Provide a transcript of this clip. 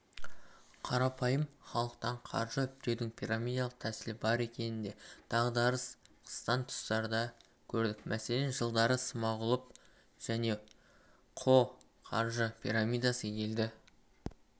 қарапайым халықтан қаржы үптеудің пирамидалық тәсілі бар екенін де дағдарыс қысқан тұстарда көрдік мәселен жылдары смағұлов және ко қаржы пирамидасы елді